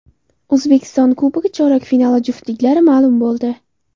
O‘zbekiston Kubogi chorak finali juftliklari ma’lum bo‘ldi.